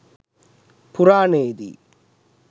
පුරාණයේදී